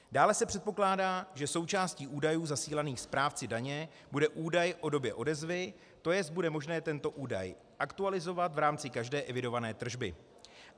Dále se předpokládá, že součástí údajů zasílaných správci daně bude údaj o době odezvy, tj. bude možné tento údaj aktualizovat v rámci každé evidované tržby.